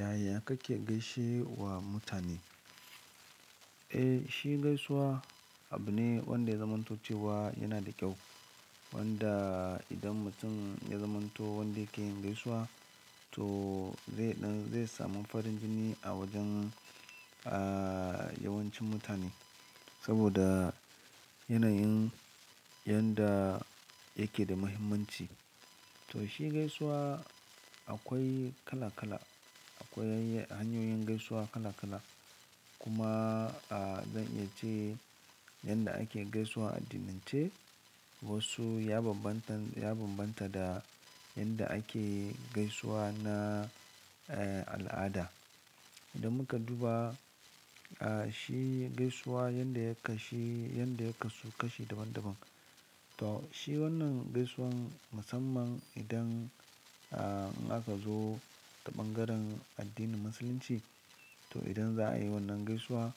Yaya kake gaishe wa mutane? Eh, shi gaisuwa abu ne wanda ya zamantocewa yana da kyau. Wanda idan mutum ya zamanto wanda ke yin gaisuwa to zai ɗan, zai samu farin jini a wajen, a, yawancin mutane. Saboda yanayin yanda yake da muhimmanci. To shi gaisuwa akwai kala-kala, akwai hanyoyin gaisuwa kala-kala. Kuma, a, zan iya ce yanda ake gaisuwa a addinin ce wasu ya bambanta, ya bambanta da yanda ake gaisuwa na, eh, al'ada. Idan muka duba, a, shi gaisuwa yanda ya kashu, yanda ya kasu kashi daban-daban. To shi wannan gaisuwan musamman idan, a, aka zo ta ɓangaren addinin musulunci. To idan za a yi wannan gaisuwa